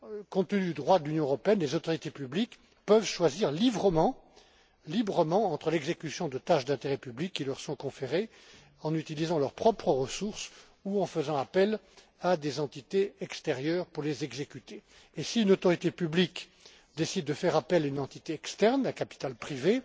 juste. Compte tenu du droit de l'Union européenne, les autorités publiques peuvent choisir librement entre l'exécution de tâches d'intérêt public qui leur sont conférées en utilisant leurs propres ressources ou en faisant appel à des entités extérieures pour les exécuter. Si une autorité publique décide de faire appel à une entité externe, à capital